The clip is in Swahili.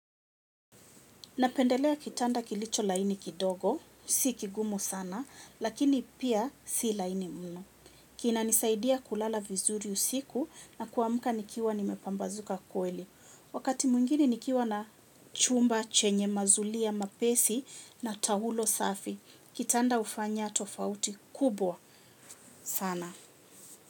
Napendelea kitanda kilicho laini kidogo, si kigumu sana, lakini pia si laini mno. Kinanisaidia kulala vizuri usiku na kuamka nikiwa nimepambazuka kweli. Wakati mwingine nikiwa na chumba chenye mazulia mapesi na taulo safi. Kitanda hufanya tofauti kubwa sana.